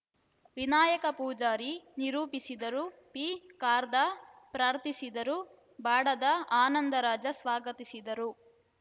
ವಿನಾಯಕ ಪೂಜಾರಿ ನಿರೂಪಿಸಿದರು ಪಿಖಾರ್ದ ಪ್ರಾರ್ಥಿಸಿದರು ಬಾಡದ ಆನಂದರಾಜ ಸ್ವಾಗತಿಸಿದರು